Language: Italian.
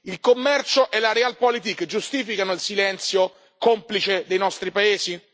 Il commercio e la Realpolitik giustificano il silenzio complice dei nostri paesi?